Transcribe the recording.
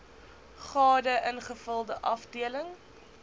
gade ingevulde afdeling